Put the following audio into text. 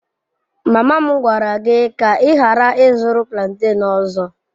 Mama m gwara gị ka ị ghara ịzụrụ plantain ọzọ.